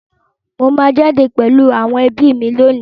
Mo máa jáde pẹ̀lú àwọn ẹbí mi lónìí.